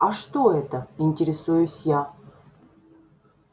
а что это интересуюсь я